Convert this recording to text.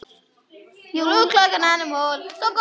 Það hefur þróast þannig.